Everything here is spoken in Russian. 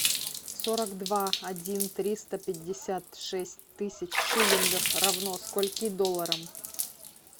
сорок два один триста пятьдесят шесть тысяч шиллингов равно скольки долларам